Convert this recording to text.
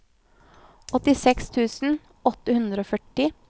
åttiseks tusen åtte hundre og førti